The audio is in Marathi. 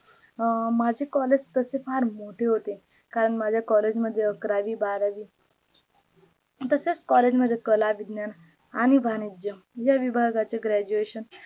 अं माझे collage तसे फार मोठे होते करण माझे collage मध्ये अकरावी बारावी तसेच collage मध्ये कला, विज्ञान, आणि वाणिज्य या विभागाचे graduation